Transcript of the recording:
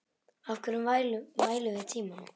Af hverju mælum við tímann?